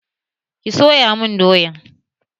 Ki soya mun doyan!